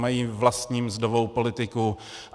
Mají vlastní mzdovou politiku.